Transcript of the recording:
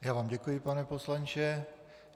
Já vám děkuji, pane poslanče.